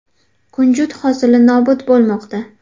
Kunjut hosili nobud bo‘lmoqda.